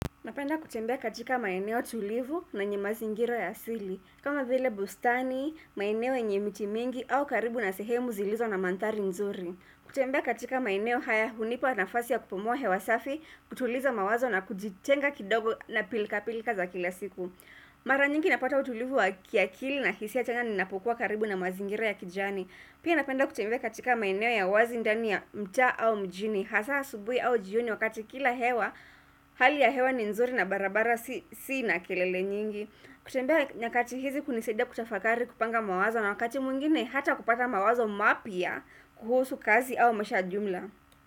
Napenda kutembea katika maeneo tulivu na yenye mazingira ya asili. Kama vile bustani, maeneo yenye miti mingi au karibu na sehemu zilizo na manthari nzuri. Kutembea katika maeneo haya unipa nafasi ya kupumua hewa safi, kutuliza mawazo na kujitenga kidogo na pilka pilka za kila siku. Mara njingi napata utulivu wa kiakili na hisia ya chanya ninapokuwa karibu na mazingira ya kijani. Pia napenda kutembea katika maeneo ya wazi ndani ya mtaa au mjini. Hasa asubui au jioni wakati kila hewa Hali ya hewa ni nzuri na barabara si na kilele nyingi kutembea nyakati hizi kuniseda kutafakari kupanga mawazo na wakati mwingine hata kupata mawazo mapya kuhusu kazi au maisha ya jumla.